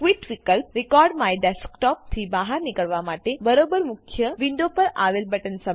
quit વિલ્પ recordMyDesktopથી બહાર નીકળવા માટે છે બરોબર મુખ્ય વિન્ડો પર આવેલ બટન સમાન